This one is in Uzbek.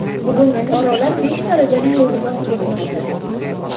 Bugun fuqarolar besh darajali yo‘lni bosib o‘tmoqda.